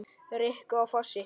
Rikku á Fossi!